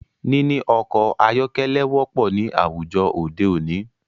Níní ọkọ̀ ayọ́kẹ́lẹ́ wọ́pọ̀ ní àwùjọ òde òní.